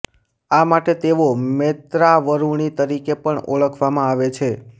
આ માટે તેઓ મૈત્રાવરુણિ તરીકે પણ ઓળખવામાં આવે છે